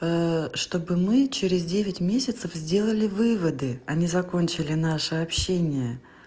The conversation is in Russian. чтобы мы через девять месяцев сделали выводы а не закончили наше общение